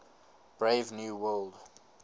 brave new world